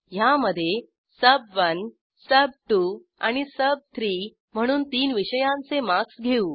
ह्यामधे सुब1 सुब2 आणि सुब3 म्हणून तीन विषयांचे मार्क्स घेऊ